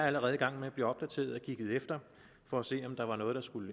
allerede i gang med at blive opdateret og kigget efter for at se om der er noget der skal